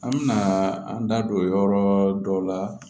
An mɛna an da don yɔrɔ dɔw la